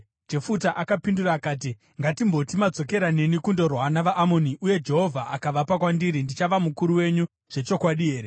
Jefuta akapindura akati, “Ngatimboti madzokera neni kundorwa navaAmoni uye Jehovha akavapa kwandiri, ndichava mukuru wenyu zvechokwadi here?”